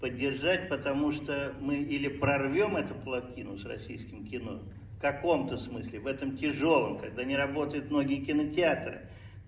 поддержать потому что мы или прорвём эту плотину с российским кино в каком-то смысле в этом тяжёлом когда не работает многие кинотеатры